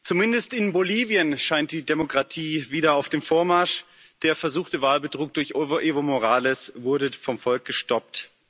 Zumindest in Bolivien scheint die Demokratie wieder auf dem Vormarsch. Der versuchte Wahlbetrug durch Evo Morales wurde vom Volk gestoppt.